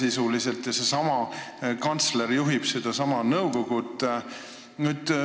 Seesama kantsler juhib seda nõukogu.